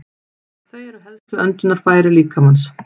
Þau eru helstu öndunarfæri líkamans.